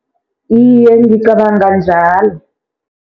Iye, ngicabanga njalo.